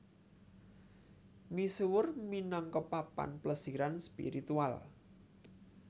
Misuwur minangka papan plesiran spiritual